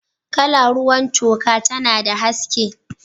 Kala ruwan toka tana da haske.